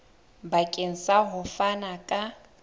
bakeng sa ho fana ka